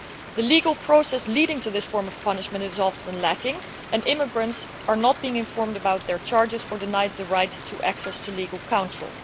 The legal process leading to this form of punishment is often lacking and immigrants are not being informed about the charges against them, or are being denied the right of access to legal counsel.